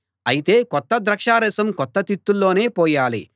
అయితే కొత్త ద్రాక్షారసం కొత్త తిత్తుల్లోనే పోయాలి